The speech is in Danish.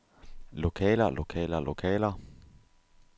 lokaler lokaler lokaler